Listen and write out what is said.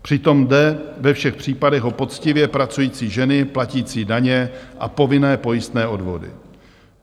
Přitom jde ve všech případech o poctivě pracující ženy platící daně a povinné pojistné odvody.